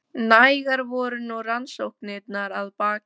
Nægar voru nú rannsóknirnar að baki.